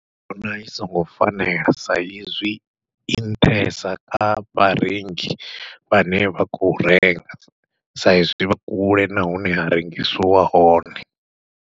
Ndi vhona i songo fanela, sa izwi i nṱhesa kha vharengi vhane vha khou renga sa izwi vha kule na hune ha rengisiwa hone.